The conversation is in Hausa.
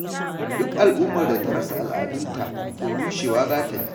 Duk al'ummar da ta rasa al'adunta, to rushewa za ta yi.